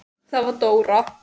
Það var Dóra.